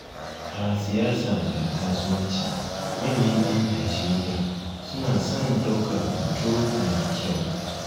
A siyasa da kasuwanci manyan 'yan Najeriya suna son ɗaukar hoto mai kyau